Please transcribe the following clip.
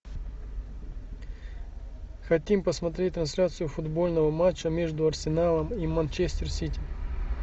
хотим посмотреть трансляцию футбольного матча между арсеналом и манчестер сити